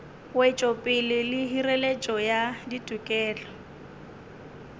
wetšopele le hireletšo ya ditokelo